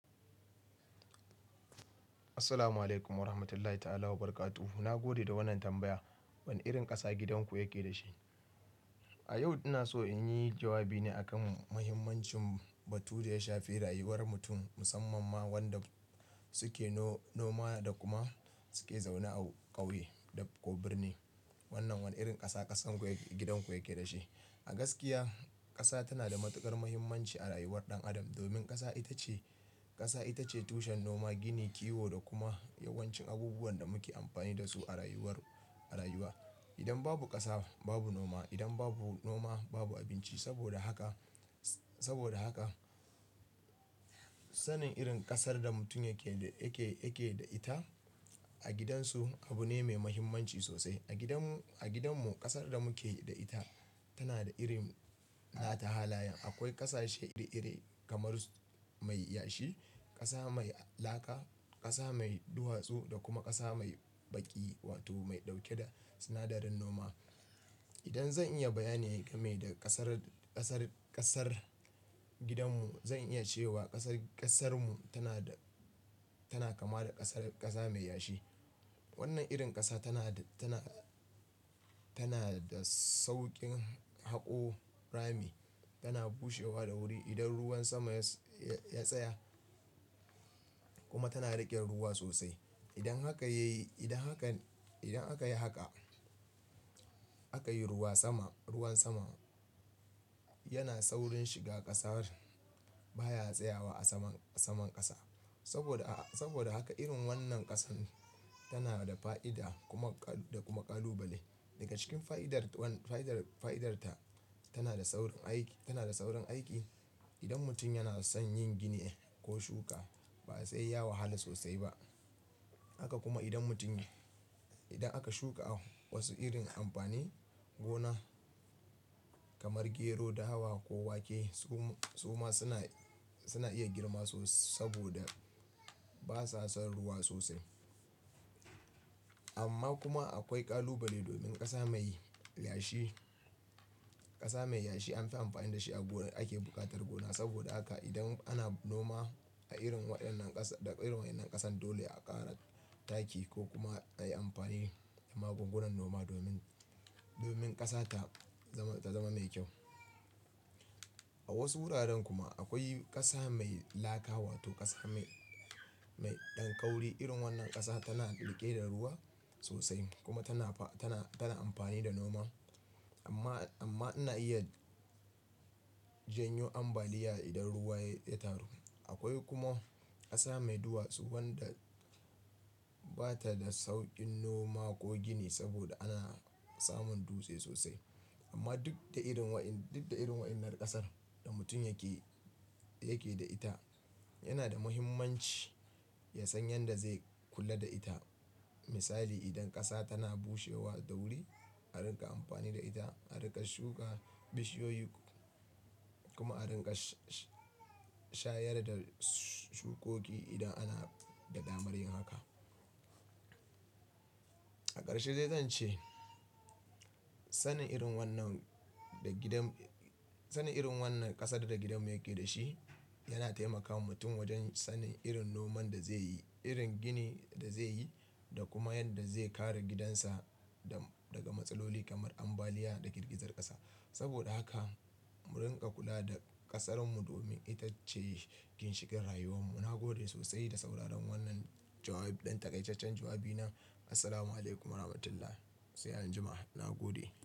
Assalamu'alaikum warahmatullahi ta'ala wa barakatu. Na gode da wannan tambaya. Wane irin ƙasa gidanku yake da shi? A yau ina so inyi jawabi ne akan muhimmancin batu da ya shafi rayuwar mutum, musamman ma wanda suke noma, da kuma suke zaune a ƙauye ko birni. Wannan wane irin ƙasa, ƙasanku ya, gidan ku yake da shi. Ah gaskiya, ƙasa tana da matuƙar muhimmanci a rayuwar ɗan adam, domin ƙasa ita ce, ƙasa ita ce tushen noma, gini, kiwo da kuma yawancin abubuwan da muke amfani da su, a rayuwar, a rayuwa. Idan babu ƙasa babu noma. Idan babu noma babu abinci. Saboda haka, saboda haka sanin irin ƙasar da mutum yake, yake, yake da ita a gidansu abu ne mai muhimmanci sosai. A gidanmu, a gidanmu ƙasar da muke da ita tana da irin na ta halaye. Akwai ƙasashe iri iri kamar mai yashi, ƙasa mai laka, ƙasa mai duwatsu da kuma ƙasa mai baƙi, wato mai ɗauke da sinadarin noma. Idan zan iya bayani game da ƙasar, ƙasar, ƙasar gidanmu zan iya cewa ƙasar, ƙasarmu tana da, tana kama da ƙasar, ƙasa mai yashi. Wannan irin ƙasa tana, tana, tana da sauƙin haƙo rami, tana bushewa da wuri, idan ruwan sama ya, ya tsaya kuma tana riƙe ruwa sosai. Idan haka yayi, idan hakan, idan aka yi haka, aka yi ruwa sama, ruwan sama, yana saurin shiga ƙasar, baya tsayawa a saman, saman ƙasa. Saboda, saboda haka irin wannan ƙasar, tana da fa'ida, kuma, da kuma kalubale. Daga cikin fa'idarta tana da saurin aiki, tana da saurin aiki. Idan mutum yana son yin gini ko shuka, ba sai ya wahala sosai ba. Haka kuma idan mutum, idan aka shuka wasu irin amfanin gona kamar gero, da dawa ko wake, su kuma suna, suna iya girma sosai saboda basa son ruwa sosai. Amma kuma akwai kalubale domin ƙasa mai yashi, ƙasa mai yashi anfi amfani da shi a gona ake buƙatar gona. Saboda haka idan ana noma a irin waɗannan ƙasa, da irin waɗannan ƙasar dole a ƙara taki ko kuma a yi amfani da magungunan noma domin, domin ƙasa ta zama, ta zama mai kyau. A wasu wuraren kuma akwai ƙasa mai laka wato ƙasa mai, mai ɗan ƙauri. Irin wannan ƙasa tana riƙe da ruwa sosai kuma tana, tana, tana amfani da noma. Amma, amma ina iya janyo ambaliya idan ruwa ya taru. Akwai kuma, ƙasa mai duwatsu wanda bata da sauƙin noma ko gini saboda ana samun dutse sosai. Amma duk da irin waɗan, duk da irin waɗannan ƙasar da mutum yake, yake da ita, yana da muhimmanci ya san yadda zai kula da ita. Misali, idan ƙasa tana bushewa da wuri, a riƙa amfani da ita, a riƙa shuka bishiyoyi, kuma a riƙa shayar da shukoki idan ana da damar yin haka. A ƙarshe zai zan ce sanin irin wannan da gidan, sanin irin wannan ƙasar da gidanmu yake da shi yana taimakawa mutum wajen sanin irin noman da zai yi, irin gini da zai yi, da kuma yadda zai kare gidansa da daga matsaloli kamar ambaliya da girgizar ƙasa. Saboda haka, mu rinƙa kula da ƙasar mu domin ita ce ginshikin rayuwar mu. Na gode sosai da sauraron wannan jawabi. Ɗan takaiceccen jawabi na. Assalamu'alaikum warahmatullahi. Sai an jima. Na gode.